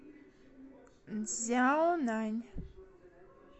цзяонань